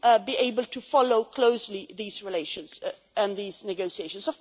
to be able to follow closely these relations and these negotiations.